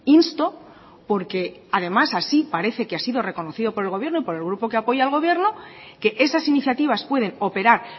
insto porque además así parece que ha sido reconocido por el gobierno por el grupo que apoya al gobierno que esas iniciativas pueden operar